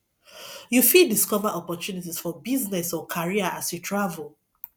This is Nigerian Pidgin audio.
you fit discover opportunities for business or career as you travel